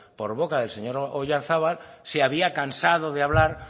por boca del señor oyarzábal se había cansado de hablar